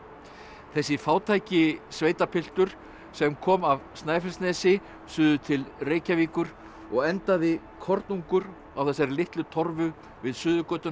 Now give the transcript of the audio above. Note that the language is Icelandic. þessi fátæki sveitapiltur sem kom af Snæfellsnesi suður til Reykjavíkur og endaði kornungur á þessari litlu torfu við Suðurgötuna